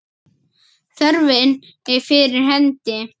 Þörfin er fyrir hendi.